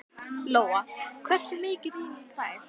Lóa: Hversu mikið rýrna þær?